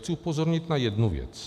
Chci upozornit na jednu věc.